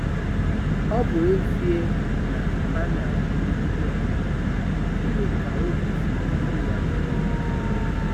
Ọ bụ ezie na a na-emegide ha, gịnị ka obi siri ndị ya ike?